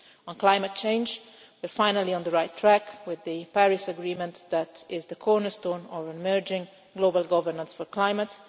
On climate change, we are finally on the right track with the Paris agreement, which is the cornerstone of emerging global governance for climate.